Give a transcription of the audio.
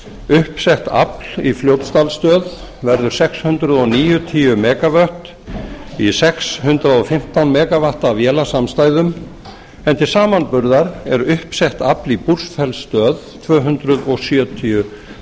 uppsett afl í fljótsdalsstöð verður sex hundruð níutíu megavött í sex hundruð og fimmtán megavatta vélasamstæðu en til samanburðar er uppsett afl í búrfellsstöð tvö hundruð sjötíu